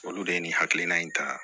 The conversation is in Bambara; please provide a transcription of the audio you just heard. Olu de ye nin hakilina in ta